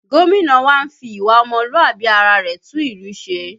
Gómìnà wa ń fi ìwà ọmọlúàbí ara rẹ̀ tún ìlú ṣe